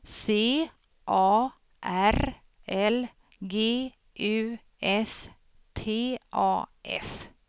C A R L G U S T A F